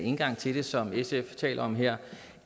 indgang til det som sf taler om her